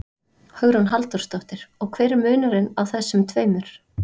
Hugrún Halldórsdóttir: Og hver er munurinn á þessum tveimur?